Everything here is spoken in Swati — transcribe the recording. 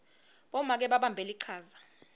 bomake babambe lichaza